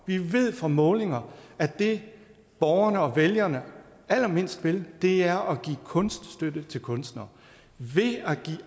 vi ved fra målinger at det borgerne og vælgerne allermindst vil er at give kunststøtte til kunstnere